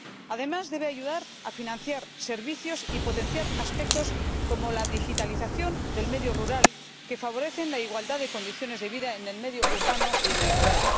Además, debe ayudar a financiar servicios y potenciar aspectos como la digitalización del medio rural, que favorecen la igualdad de condiciones de vida en el medio urbano y en el rural.